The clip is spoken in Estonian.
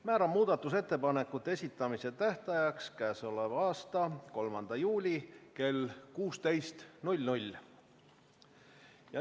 Määran muudatusettepanekute esitamise tähtajaks k.a 3. juuli kell 16.